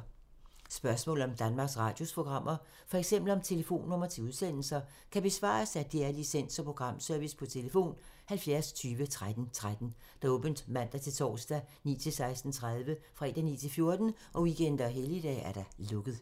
Spørgsmål om Danmarks Radios programmer, f.eks. om telefonnumre til udsendelser, kan besvares af DR Licens- og Programservice: tlf. 70 20 13 13, åbent mandag-torsdag 9.00-16.30, fredag 9.00-14.00, weekender og helligdage: lukket.